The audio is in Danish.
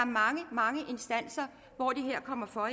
mange mange instanser hvor det her kommer for